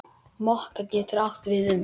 Mokka getur átt við um